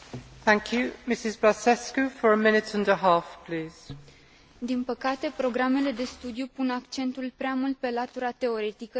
Din păcate, programele de studiu pun accentul prea mult pe latura teoretică, iar studenții întâmpină probleme atunci când intră pe piața muncii.